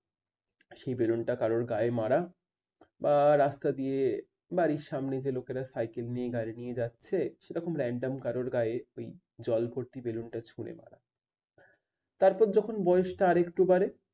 সেই ballon টা কারোর গায়ে মারা বা রাস্তা দিয়ে বাড়ির সামনে যে লোকেরা সাইকেল নিয়ে গাড়ি নিয়ে যাচ্ছে সেরকম random কারর গায়ে ওই জল ভর্তি balloons টা ছুড়ে মারা। তারপর যখন বয়সটা আরেকটু বাড়ে